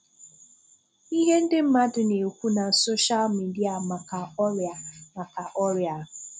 Ihe ndị mmadụ na-ekwu na Sọ́shàl mídíà maka ọríà maka ọríà a.